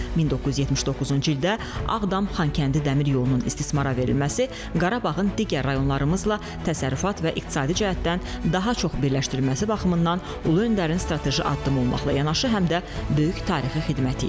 1979-cu ildə Ağdam-Xankəndi dəmir yolunun istismara verilməsi Qarabağın digər rayonlarımızla təsərrüfat və iqtisadi cəhətdən daha çox birləşdirilməsi baxımından Ulu Öndərin strateji addımı olmaqla yanaşı, həm də böyük tarixi xidməti idi.